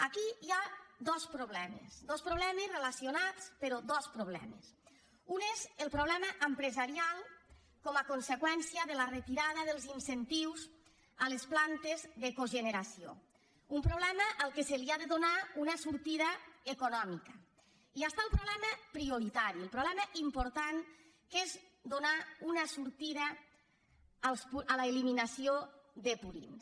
aquí hi ha dos problemes dos problemes relacionats però dos problemes un és el problema empresarial com a conseqüència de la retirada dels incentius a les plantes de cogeneració un problema al qual s’ha de donar una sortida econòmica i hi ha el problema prioritari el problema important que és donar una sortida a l’eliminació de purins